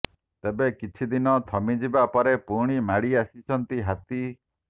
ତେବେ କିଛି ଦିନ ଥମିଯିବା ପରେ ପୁଣି ମାଡ଼ି ଆସିଛନ୍ତି ହାତୀ